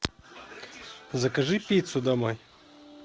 закажи пиццу домой